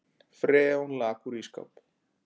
Freon lak úr ísskáp